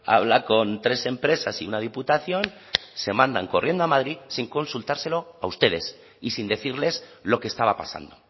habla con tres empresas y una diputación se mandan corriendo a madrid sin consultárselo a ustedes y sin decirles lo que estaba pasando